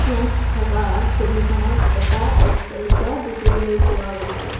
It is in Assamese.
ইয়াত থাকা ছবিখনত এটা অট্টালিকা দেখিবলৈ পোৱা গৈছে।